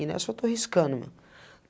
E nessa eu estou riscando, mano.